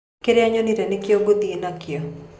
Kĩrĩa nyonire nĩkĩo ngũthiĩ nakĩo.